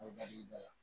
O dali la